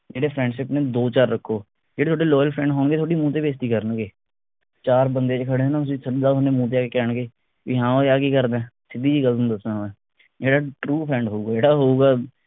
ਕਹਿੰਦੇ friendship ਨੇ ਦੋ ਚਾਰ ਰੱਖੋ ਜਿਹੜੇ ਤੁਹਾਡੇ loyal friends ਹੋਣਗੇ ਤੁਹਾਡੀ ਮੂੰਹ ਤੇ ਬੇਇਜ਼ਤੀ ਕਰਨਗੇ ਚਾਰ ਬੰਦੇ ਵਿਚ ਖੜੇ ਹੋ ਨਾ ਤੁਸੀ ਸਿੱਧਾ ਉਹਨੇ ਮੂੰਹ ਤੇ ਆ ਕੇ ਕਹਿਣਗੇ ਬਈ ਹਾਂ ਉਏ ਆ ਕੀ ਕਰਦਾ ਸਿੱਧੀ ਜੀ ਗੱਲ ਤੁਹਾਨੂੰ ਦੱਸਾਂ ਮੈਂ ਜਿਹੜਾ true friend ਹੋਉਗਾ ਜਿਹੜਾ ਹੋਉਗਾ